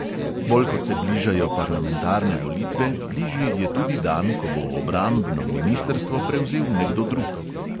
Bolj kot se bližajo parlamentarne volitve, bližji je tudi dan, ko bo obrambno ministrstvo prevzel nekdo drug.